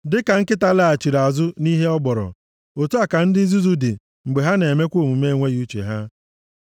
Dịka nkịta laghachiri ọzọ nʼihe ọ gbọrọ, otu a ka ndị nzuzu dị mgbe ha na-emekwa omume enweghị uche ha.